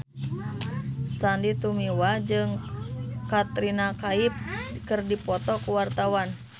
Sandy Tumiwa jeung Katrina Kaif keur dipoto ku wartawan